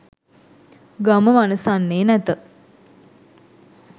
ගම වනසන්නේ නැත.